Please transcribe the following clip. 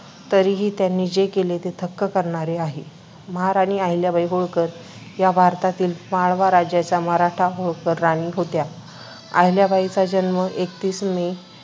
तरीही त्यांनी जे केले ते थक्क करणारे आहे. महाराणी अहिल्याबाई होळकर या भारतातील माळवा राज्याच्या मराठा होळकर राणी होत्या. अहिल्याबाईंचा जन्म आहिल्याबाईचा जन्म एकतीस मे